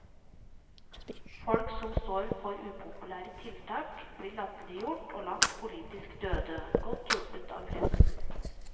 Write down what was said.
Folk som står for upopulære tiltak blir latterliggjort og lagt politiske døde, godt hjulpet av pressen.